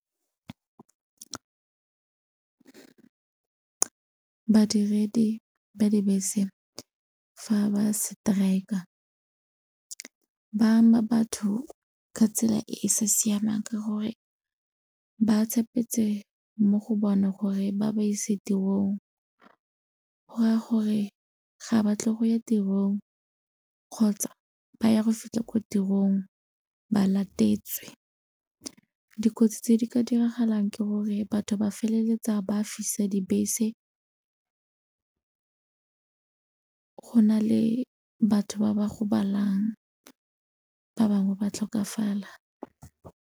Badiredi ba dibese fa ba strike-a ba ama batho ka tsela e e sa siamang ka gore ba tshepetse mo go bona gore ba ba ise tirong go raya gore ga ba tle go ya tirong kgotsa ba ya go fitlha ko tirong ba latetswe. Dikotsi tse di ka diragalang ke gore batho ba feleletsa ba fisa dibese go na le batho ba ba gobalang ba bangwe ba tlhokafala.